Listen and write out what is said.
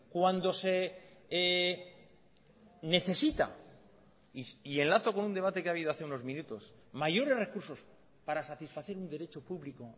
cuando se necesita y enlazo con un debate que ha habido hace unos minutos mayores recursos para satisfacer un derecho público